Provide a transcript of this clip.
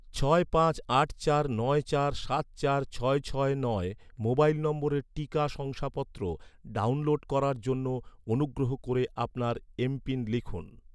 ছয় পাঁচ আট চার নয় চার সাত চার ছয় ছয় নয় মোবাইল নম্বরের টিকা শংসাপত্র ডাউনলোড করার জন্য, অনুগ্রহ করে আপনার এম.পিন লিখুন